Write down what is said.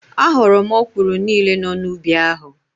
A ghọrọ m ọkwụrụ niile nọ n'ubi ahụ.